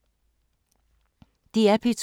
DR P2